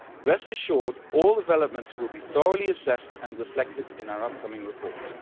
Rest assured that all developments will be thoroughly assessed and reflected in our upcoming report.